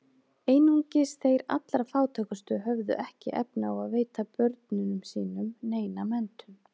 Einungis þeir allra fátækustu höfðu ekki efni á að veita börnunum sínum neina menntun.